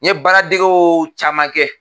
N ye baara degew caman kɛ.